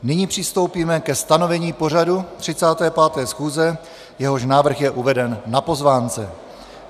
Nyní přistoupíme ke stanovení pořadu 35. schůze, jehož návrh je uveden na pozvánce.